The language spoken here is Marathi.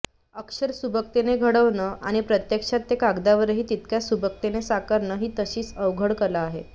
अक्षर सुबकतेने घडवणं आणि प्रत्यक्षात ते कागदावरही तितक्याच सुबकपणे साकारणं ही तशी अवघड कला आहे